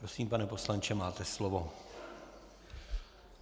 Prosím, pane poslanče, máte slovo.